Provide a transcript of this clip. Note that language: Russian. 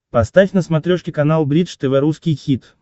поставь на смотрешке канал бридж тв русский хит